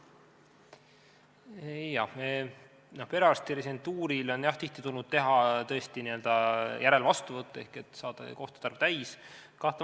Jah, perearsti residentuurile on tulnud tihti teha tõesti n-ö järelvastuvõtte, et saada kohtade arv täis.